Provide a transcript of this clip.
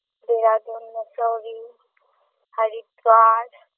Dehradun Mussoorie Haridwar